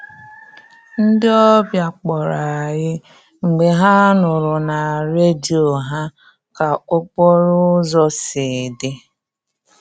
Ndị ọbịa kpọrọ anyị mgbe ha nụrụ na redio ha ka okporo ụzọ si dị